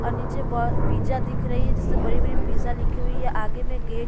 ओर नीचे पिज्जा दिख रही है जिसमें बड़ी-बड़ी पिज्जा लिखी हुई है आगे में गेट --